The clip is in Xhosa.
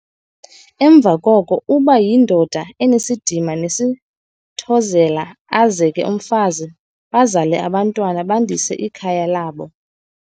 Emva koko uba yindoda enesidima nesithozela azeke umfazi bazale abantwana bandise ikhaya labo.